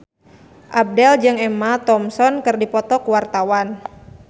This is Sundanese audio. Abdel jeung Emma Thompson keur dipoto ku wartawan